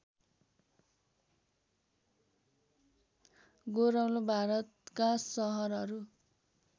गोरौल भारतका सहरहरू